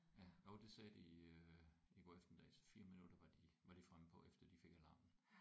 Ja jo det sagde de øh i går eftermiddags 4 minutter var de var de fremme på efter de fik alarmen